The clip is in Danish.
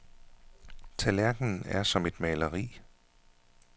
Tallerkenen er som et maleri.